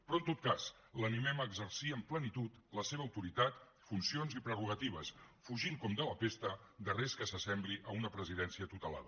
però en tot cas l’animem a exercir amb plenitud la seva autoritat funcions i prerrogatives fugint com de la pesta de res que s’assembli a una presidència tutelada